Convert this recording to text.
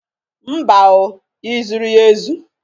Mba o! Ị zụrụ ya ezu?